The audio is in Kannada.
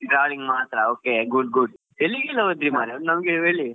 Traveling ಮಾತ್ರ okay good good ಎಲ್ಲಿಗೆಲ್ಲ ಹೋದ್ರಿ ಮಾರಾಯ ನಮ್ಗೆ ಹೇಳಿ.